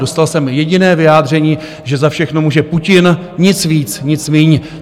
Dostal jsem jediné vyjádření, že za všechno může Putin, nic víc, nic míň.